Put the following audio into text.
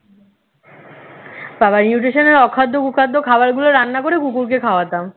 বাবা nutrition এর অখাদ্য কুখাদ্য খাবারগুলো রান্না করে কুকুরকে খাওয়াতাম